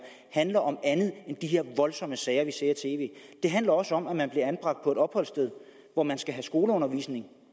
handler om andet end de her voldsomme sager vi ser i tv det handler også om at man bliver anbragt på et opholdssted hvor man skal have skoleundervisning